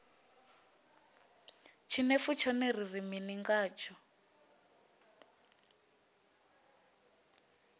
tshinefu tshone ri ri mini ngatsho